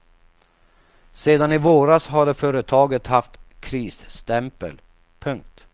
Sedan i våras hade företaget haft krisstämpel. punkt